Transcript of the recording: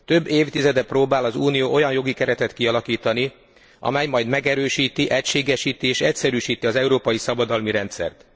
Több évtizede próbál az Unió olyan jogi keretet kialakítani, amely majd megerősíti, egységesíti és egyszerűsíti az európai szabadalmi rendszert.